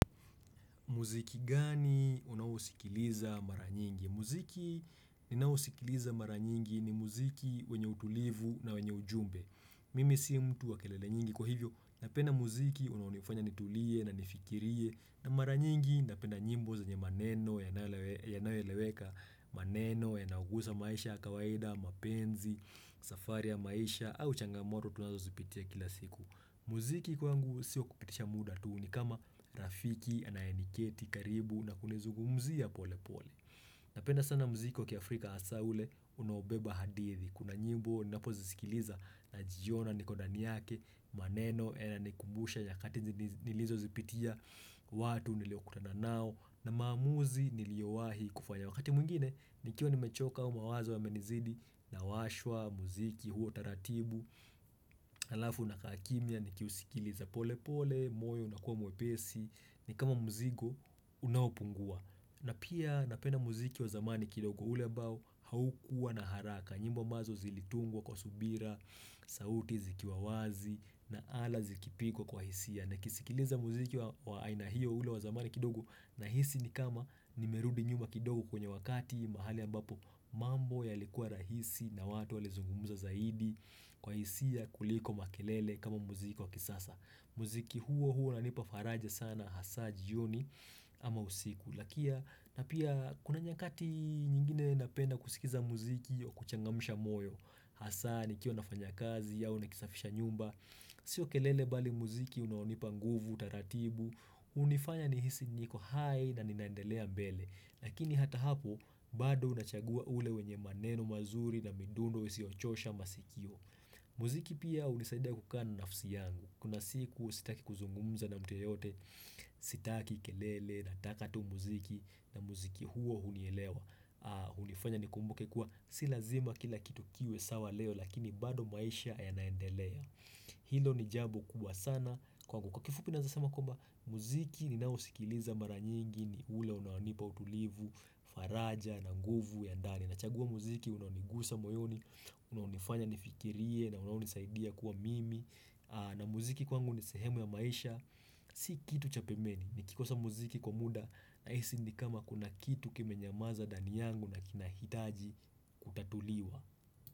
Muziki gani unaousikiliza mara nyingi? Muziki ninaousikiliza mara nyingi ni muziki wenye utulivu na wenye ujumbe. Mimi si mtu wa kelele nyingi. Kwa hivyo, napenda muziki unaonifanya nitulie na nifikirie. Na mara nyingi, napenda nyimbo zenye maneno yanayoeleweka maneno yanaogusa maisha ya kawaida, mapenzi, safari ya maisha, au changamoto tunazozipitia kila siku. Muziki kwangu si wa kupitisha muda tu ni kama rafiki anayeniketi karibu na kunizungumzia pole pole Napenda sana muziki wa kiafrika hasa ule unaobeba hadithi. Kuna nyimbo ninapozisikiliza najiona niko ndani yake. Maneno yananikumbusha nyakati nilizozipitia watu niliokutana nao na maamuzi niliyowahi kufanya wakati mwingine nikiwa nimechoka au mawazo yamenizidi nawashwa muziki huo taratibu alafu nakaa kimya nikiusikiliza pole pole moyo unakuwa mwepesi ni kama mzigo unaopungua na pia napenda muziki wa zamani kidogo ule ambao haukuwa na haraka nyimbo ambazo zilitungwa kwa subira sauti zikiwa wazi na ala zikipigwa kwa hisia nikisikiliza muziki wa aina hiyo ule wa zamani kidogo nahisi ni kama nimerudi nyuma kidogo kwenye wakati mahali ambapo mambo yalikua rahisi na watu walizungumuza zaidi Kwa hisia kuliko makelele kama muziki wa kisasa. Muziki huo huo unanipa faraja sana hasa jioni ama usiku na pia kuna nyakati nyingine napenda kusikiza muziki wa kuchangamsha moyo hasa nikiwa nafanya kazi au nikisafisha nyumba Sio kelele bali muziki unaonipa nguvu, utaratibu hunifanya nihisi niko hai na ninaendelea mbele. Lakini hata hapo bado unachagua ule wenye maneno mazuri na midundo isiochosha masikio muziki pia hunisaidia kukaq na nafsi yangu. Kuna siku sitaki kuzungumza na mtu yeyote sitaki kelele nataka tu muziki na muziki huo hunielewa hunifanya nikumbuke kuwa si lazima kila kitu kiwe sawa leo lakini bado maisha yanaendelea Hilo ni jambo kubwa sana kwangu. Kwa kifupi naeza sema kwamba muziki ninaousikiliza mara nyingi ni ule unaonipa utulivu, faraja na nguvu ya ndani. Nachagua muziki, unaonigusa moyoni, unaonifanya nifikirie na unaonisaidia kuwa mimi. Na muziki kwangu ni sehemu ya maisha. Si kitu cha pembeni, nikikosa muziki kwa muda nahisi ni kama kuna kitu kimenyamaza ndani yangu na kinahitaji kutatuliwa.